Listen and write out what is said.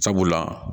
Sabula